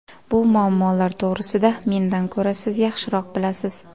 Bu muammolar to‘g‘risida mendan ko‘ra siz yaxshiroq bilasiz.